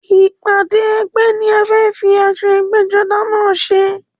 Ìpàdé ẹgbẹ́ ni a fẹ́ fi aṣọ ẹgbẹ́-jọdá náà ṣe.